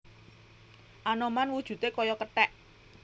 Anoman wujudé kaya kethèk